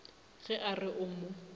ge a re o mo